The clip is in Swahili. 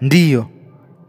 Ndiyo,